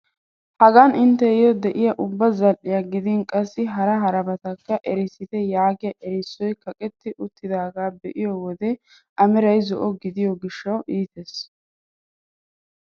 Hagan intteyo diyaa ubba zal"iyaa gidin qassi hara harabatakka erissite yaagiyaa erissoy kaqetti uttidagaa be'iyoo wode a meray zo'o gidiyo gishshawu iites.